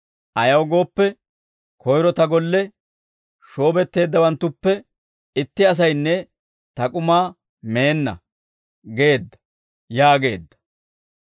Ayaw gooppe, koyro ta golle shoobetteeddawanttuppe itti asaynne ta k'umaa meenna› geedda» yaageedda.